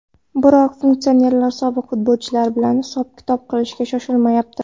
Biroq funksionerlar sobiq futbolchilar bilan hisob-kitob qilishga shoshilmayapti.